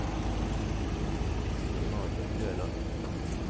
Stefan Løland